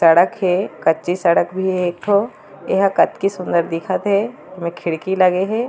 सड़क हे कच्ची सड़क भी हे एक ठो एहा कातकी सूंदर दिखत हे दो खड़की लगे हे।